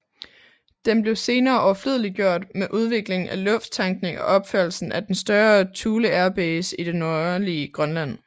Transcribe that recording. Den blev senere overflødeliggjort med udviklingen af lufttankning og opførelsen af den større Thule Air Base i det nordlige Grønland